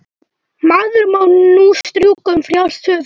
Maður má nú strjúka um frjálst höfuð!